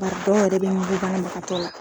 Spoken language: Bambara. Bari dɔw yɛrɛ be ɲukun banabaatɔ la.